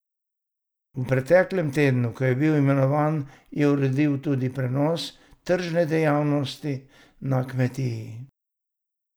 V preteklem tednu, ko je bil imenovan, je uredil tudi prenos tržne dejavnosti na kmetiji.